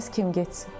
Bəs kim getsin?